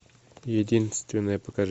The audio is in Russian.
единственная покажи